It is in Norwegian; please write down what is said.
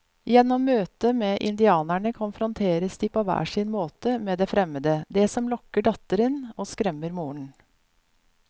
Gjennom møtet med indianerne konfronteres de på hver sin måte med det fremmede, det som lokker datteren og skremmer moren.